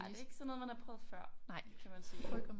Nej det ikke sådan noget man har prøvet før kan man sige